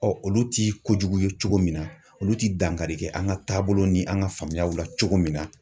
Ɔ olu tɛ kojugu ye cogo min na olu tɛ dankari kɛ an ka taabolo ni an ka faamuyaw la cogo min na.